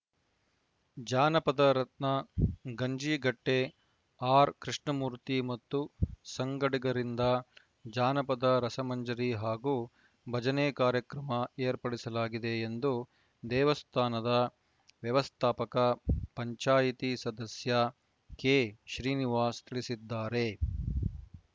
ಜಾನಪದ ರತ್ನ ಗಂಜಿಗಟ್ಟೆಆರ್‌ಕೃಷ್ಣಮೂರ್ತಿ ಮತ್ತು ಸಂಗಡಿಗರಿಂದ ಜಾನಪದ ರಸಮಂಜರಿ ಹಾಗೂ ಭಜನೆ ಕಾರ್ಯಕ್ರಮ ಏರ್ಪಡಿಸಲಾಗಿದೆ ಎಂದು ದೇವಸ್ಥಾನದ ವ್ಯವಸ್ಥಾಪಕ ಪಂಚಾಯಿತಿ ಸದಸ್ಯ ಕೆಶ್ರೀನಿವಾಸ್‌ ತಿಳಿಸಿದ್ದಾರೆ